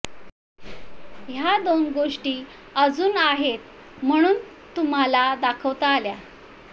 ह्या दोन गोष्टी अजून आहेत म्हणून तुम्हाला दाखवता आल्या